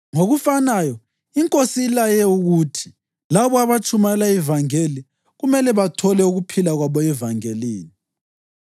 Ngokufanayo iNkosi ilaye ukuthi labo abatshumayela ivangeli kumele bathole ukuphila kwabo evangelini.